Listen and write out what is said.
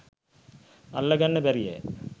අල්ල ගන්න බැරියැ?